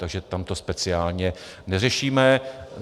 Takže tam to speciálně neřešíme.